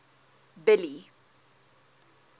billy